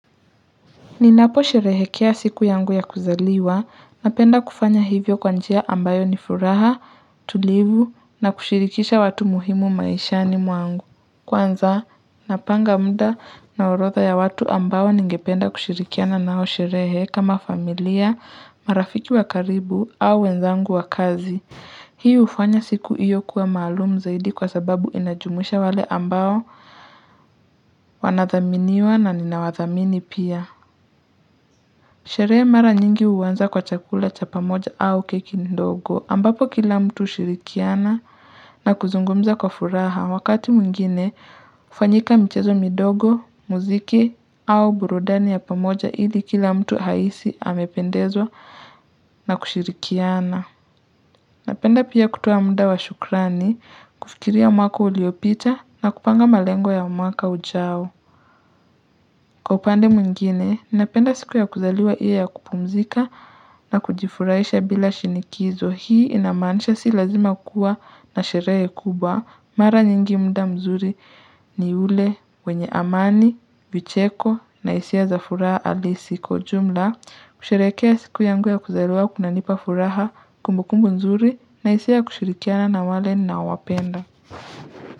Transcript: Ninapo sherehekea siku yangu ya kuzaliwa napenda kufanya hivyo kwanjia ambayo ni furaha, tulivu na kushirikisha watu muhimu maishani mwangu. Kwanza, napanga mda na orotha ya watu ambao ningependa kushirikiana nao sherehe kama familia, marafiki wakaribu au wenzangu wa kazi. Hii ufanya siku iyo kuwa malumu zaidi kwa sababu inajumisha wale ambao wanathaminiwa na ninawathamini pia. Sheree mara nyingi uwanza kwa chakula cha pamoja au keki ndogo ambapo kila mtu ushirikiana na kuzungumza kwa furaha wakati mwingine kufanyika mchezo midogo, muziki au burudani ya pamoja ili kila mtu haisi amependezwa na kushirikiana. Napenda pia kutuwa muda wa shukrani kufikiria mwaka uliopita na kupanga malengo ya mwaka ujao. Kwa upande mwingine, ninapenda siku ya kuzaliwa iwe ya kupumzika na kujifuraisha bila shinikizo. Hii inamanisha si lazima kuwa na sheree kubwa. Mara nyingi mda mzuri ni ule wenye amani, vicheko na isia za furaha alisi. Kwa ujumla, kusherekea siku yangu ya kuzaliwa kunanipa furaha kumbu kumbu mzuri na isia kushirikiana na wale nawapenda.